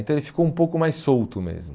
Então ele ficou um pouco mais solto mesmo.